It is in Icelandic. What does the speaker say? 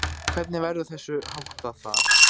Hvernig verður þessu háttað þar?